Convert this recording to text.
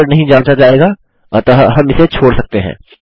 password नहीं जाँचा जाएगा अतः हम इसे छोड़ सकते हैं